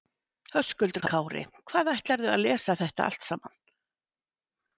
Höskuldur Kári: Hvað, ætlarðu að lesa þetta allt saman?